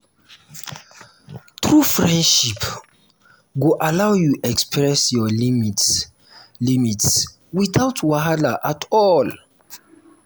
true friendship go allow you express your limits limits without wahala at all.